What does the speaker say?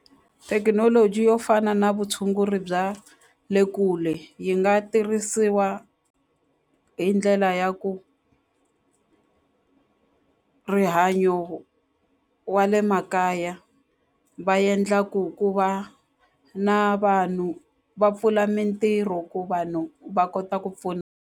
Thekinoloji yo fana na vutshunguri bya le kule yi nga tirhisiwa hi ndlela ya ku rihanyo wa le makaya va endla ku ku va na vanhu va pfula mintirho ku vanhu va kota ku pfuna.